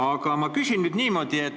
Aga ma küsin nüüd niimoodi.